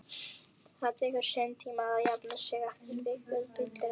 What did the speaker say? Það tekur sinn tíma að jafna sig eftir viku fyllerí